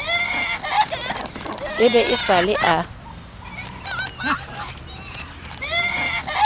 e be e sale a